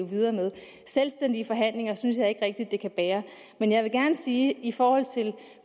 videre med selvstændige forhandlinger synes jeg ikke rigtig det kan bære men jeg vil gerne sige i forhold til